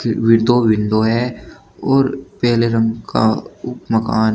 इसमें दो विंडो है और पेले रंग का मकान।